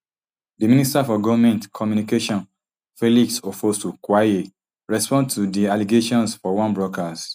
di minister for goment communication felix ofosu kwakye respond to di allegations for one broadcast